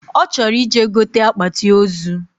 Ochoro ije gote akpati ozuu